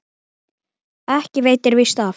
Ekki veitir víst af.